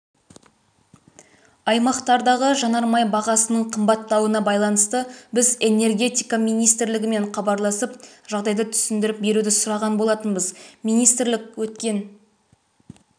аймақтардағы жанармай бағасының қымбаттауына байланысты біз энергетика министрлігімен хабарласып жағдайды түсіндіріп беруді сұраған болатынбыз министрлік өткен